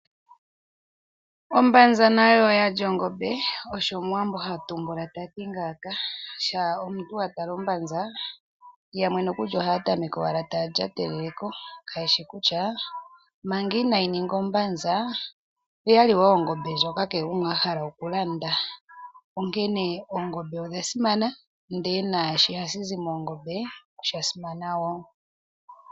Ombanza nayo oyali ongombe, osho omuwambo hatumbula tati ngaaka, shampa omuntu wa tala ombanza yamwe nokuli ohaya tameka owala taya lya tele ko kayeshi kutya manga inaayi ninga ombanza oyali wo ongombe ndjoka kehe gumwe ahala oku landa, onkene oongombe odha simana ndele naashoka hashi zi moongombe osha simana wo.